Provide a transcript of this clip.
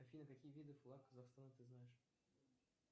афина какие виды флаг казахстана ты знаешь